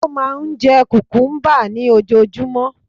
Ó máà ń jẹ cucumber ní ojoojúmọ́